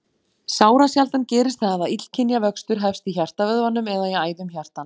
Sárasjaldan gerist það að illkynja vöxtur hefst í hjartavöðvanum eða í æðum hjartans.